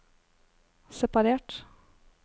separert